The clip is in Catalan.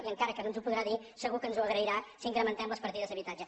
i encara que no ens ho podrà dir segur que ens ho agrairà si incrementem les partides d’habitatge